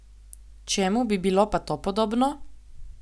Čemu bi bilo pa to podobno?